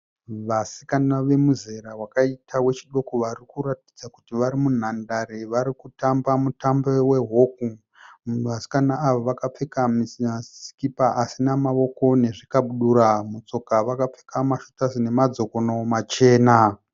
Vasikana vemuzera wakaita wechidoko vari kuratidza kuti vari munhandare vari kutamba mumutambo we hockey, vasikana ava vakapfeka maskipa asina mawoko nezvikadibura. Mutsoka vakapfeka maShooter nama dzokono machena.